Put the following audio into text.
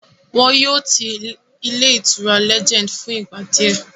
Wọ́n yóò ti ilé ìtura Legend fún ìgbà díẹ̀